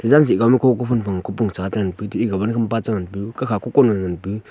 jan chchih kau ma ko kophun phang che ngang pu etu wan khampa che ngan pu kakha ko kon ngan pu.